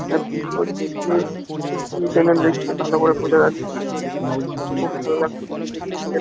এরা কি করতেছে এরা কি যেন লেখছে ভালো করে বোঝা যাচ্ছে না খুব ভালো লাগছে দেখতে স্টিকার ।